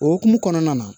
O hukumu kɔnɔna na